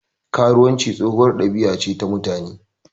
Karuwanci tsohuwar ɗabiya ta mutane.